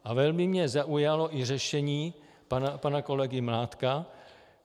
A velmi mě zaujalo i řešení pana kolegy Mládka.